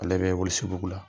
Ale bɛ walesebugu la.